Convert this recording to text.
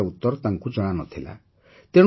କାରଣ ଏହାର ଉତ୍ତର ତାଙ୍କୁ ଜଣାନଥିଲା